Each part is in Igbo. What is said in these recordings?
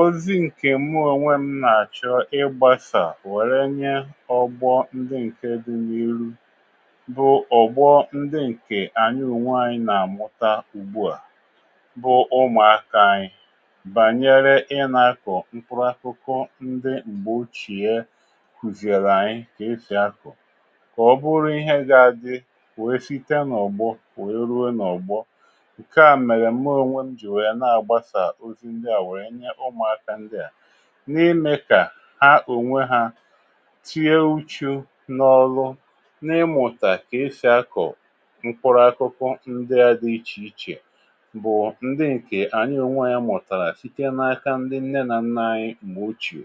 Ọzi ǹkè muònwe m nà-àchọ ịgbȧsà wère nye ọ̀gbọ ndị ǹke dị n’iru, bụ ọ̀gbọ ndị ǹkè ànyị ùnwe ànyị nà-àmụta ugbu à, bụ ụmụ̀aka anyị bànyere ịnȧkọ̀ mkpụrụ akụkụ ndị m̀gbè ochìe kwùzìrì ànyị kà esì akọ̀, kà ọ bụrụ ihe ga-adị wee site n’ọ̀gbọ kwè ruo n’ọ̀gbọ, nka mere mụ ọnwemụ jị wèrè na agbasa ọzị ndị a wèè nye ụmụaka ndị a, n’imė kà ha ònwe hȧ tie uchu̇ n’ọlu n’imụ̀tà kà esì akọ̀ mkpụrụ akụkụ ndị ȧ dị ichè ichè bụ̀ ndị ǹkè ànyị ònwe ȧ yȧ mụ̀tàrà site n’aka ndị nne nà nnȧ anyị mà ochìò,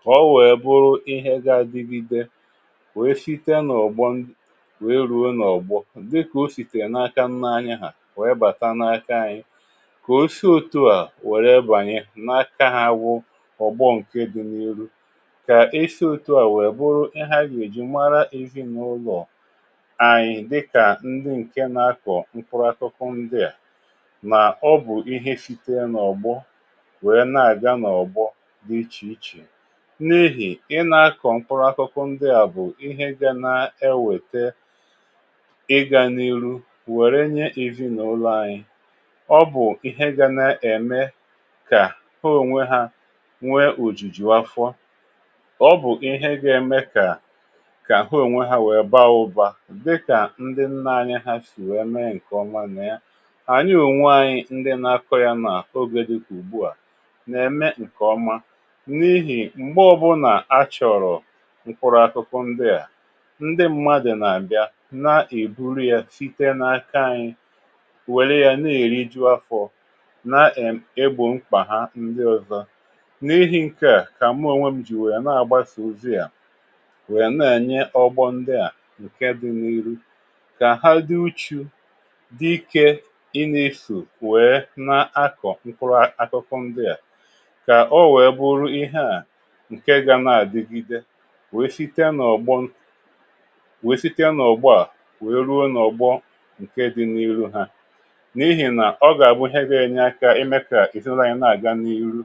ka ọ wèe bụrụ ihe gȧ-adịbì be wèe site n’ọ̀gbo wèe rùo n’ọ̀gbo, dị kà o sì tèrè n’aka nnȧ anyị hà wèe bàta n’aka anyị, ka ọsị ọtụ a wère bànye n’akȧ ha wụ ọ̀gbọ ǹke dị n’iru, kà isi òtù a wèè bụrụ ihȧ yà èji mara ezi n’ụlọ̀ anyị̀ dịkà ndị ǹke na-akọ̀ mkpụrụ àtụkụ ndịà, mà ọ bụ̀ ihe site n’ọ̀gbọ wèe na-àga n’ọ̀gbọ dị ichè ichè. N’ihì i na-akọ̀ mkpụrụ àtụkụ ndịà bụ̀ ihe ga na-ewète ịgȧ n’iru wère nye ezi n’ụlọ̀ anyị̀. Ọ bụ ịhe ga na èmè kà hoo ònwe hȧ nwee òjìjì wáfọ́ọ́, ọ bụ̀ ihe gà-eme kà hoo ònwe hȧ wèe baa ụbȧ dịkà ndị nnȧ anyị ha sì wee mee ǹkè ọma nà ya. ànyị ònwe anyị ndị na-akọ ya n’àkogė dịkà ùgbu à nà-eme ǹkè ọma, n’ihì m̀gbọ bụrụ nà a chọ̀rọ̀ mkpụrụ̇ akụkụ ndịà, ndị mmadụ̀ nà-àbịa na-èburu ya site n’aka anyị, wèrè ya na erịjụ afọ, na egbọ mkpa ha ndị ọzọ. n’ihi̇ ǹke à kà àmụ ònwè m jì wèe na-àgba sòzi à, wèe na-ènye ọgbọ ndị à ǹke dị n’ihu kà ha dị uchu̇, dịkė i n’isò wèe na-akọ̀ mkpụrụ akụkụ ndịà, kà o wèe bụrụ ihe à ǹke gȧ na-àdigide wèe sitie n’ọ̀gbọ wèe sitie n’ọ̀gbọ à wèe ruo n’ọ̀gbọ nke dị̇ n’iru ha, n’ihì nà ọ gà-àbụ ịhe gà-ènye akȧ ịme ka ezị na ụnọ anyị na aga n ịhụ